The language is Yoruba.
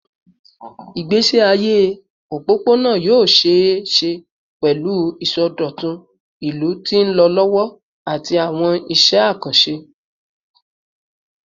Igbesi aye opopona yoo ṣee ṣe pẹlu isọdọtun ilu ti nlọ lọwọ ati awọn iṣẹ akanṣe